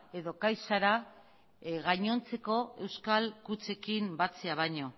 edo caixara gainontzeko euskal kutxekin batzea baino